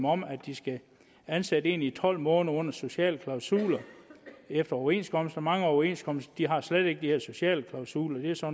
om at de skal ansætte folk i tolv måneder under sociale klausuler efter overenskomst mange overenskomster har slet ikke de her sociale klausuler det er så